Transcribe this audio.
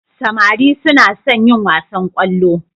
Samari suna son yin wasan kwallo.